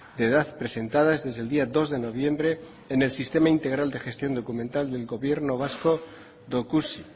de edad presentadas desde el día dos de noviembre en el sistema integral de gestión documental del gobierno vasco dokusi